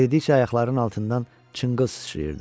Yeridikcə ayaqlarının altından çınqıl sıçrayırdı.